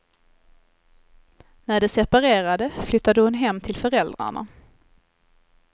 När de separerade flyttade hon hem till föräldrarna.